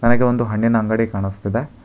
ನನಗೆ ಒಂದು ಹಣ್ಣಿನ ಅಂಗಡಿ ಕಾಣಿಸ್ತಾ ಇದೆ.